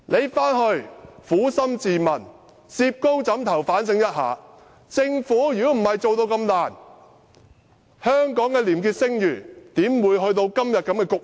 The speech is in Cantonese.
請她撫心自問，如果不是政府表現那麼差勁，香港的廉潔聲譽怎會走到今天的局面？